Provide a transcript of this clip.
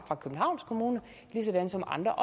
københavns kommune ligesom andre